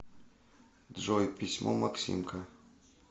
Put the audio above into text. джой письмо максимка